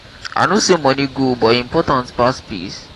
i know say money good but e important pass peace?